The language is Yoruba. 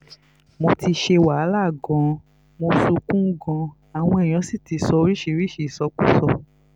mo ti ṣe wàhálà gan-an mo sunkún gan-an àwọn èèyàn sì ti sọ oríṣìíríṣìí ìsọkúsọ